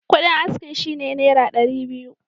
Kuɗin askin shi ne Naira dari biyu.